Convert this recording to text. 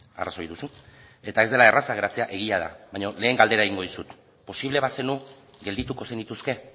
arrazoi duzu eta ez dela erraza geratzea egia da baina lehen galdera egingo dizut posible bazenu geldituko zenituzke